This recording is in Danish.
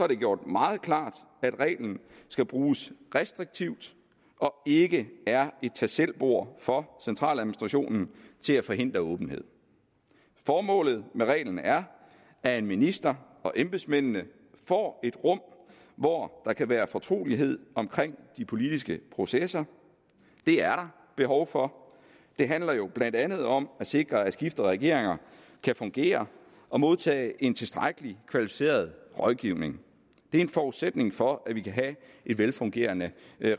det gjort meget klart at reglen skal bruges restriktivt og ikke er et tag selv bord for centraladministrationen til at forhindre åbenhed formålet med reglen er at ministeren og embedsmændene får et rum hvor der kan være fortrolighed omkring de politiske processer det er der behov for det handler jo blandt andet om at sikre at skiftende regeringer kan fungere og modtage en tilstrækkelig kvalificeret rådgivning det er en forudsætning for at vi kan have et velfungerende